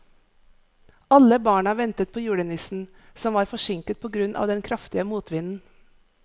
Alle barna ventet på julenissen, som var forsinket på grunn av den kraftige motvinden.